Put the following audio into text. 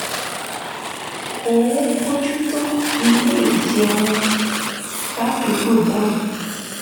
ó ń bójú tó ilé ìjẹun ládùúgbò náà